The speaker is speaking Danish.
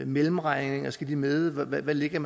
mellemregninger skal med og hvad man lægger